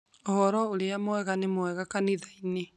Ũhoro ũrĩa mwega nĩ mwega kanithainĩ